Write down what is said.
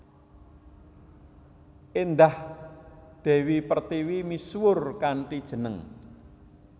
Indah Dewi Pertiwi misuwur kanthi jeneng